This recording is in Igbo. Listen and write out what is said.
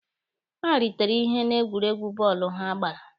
Ha ritere ihe na egwuregwu bọọlụ ha gbara.